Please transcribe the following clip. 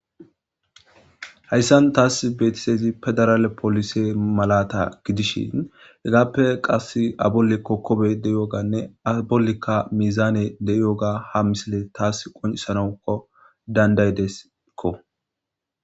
Hayssan taas beetisezi pedaraale polise malata gidishin hegaappe qass abolli kokkobe de7iyooganne a bollikka mizaane de7iyooga ha misile taas qoncisanawko dandaydeskko.